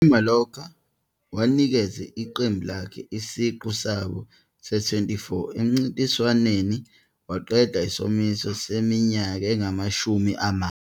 IMallorca, owanikeza iqembu lakhe isiqu sabo se-24 emncintiswaneni, waqeda isomiso seminyaka engamashumi amane.